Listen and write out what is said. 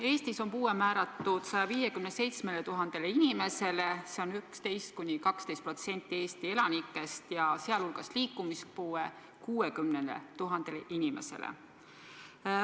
Eestis on puue määratud 157 000 inimesel, see on 11–12% Eesti elanikest, sealhulgas liikumispuue 60 000 inimesel.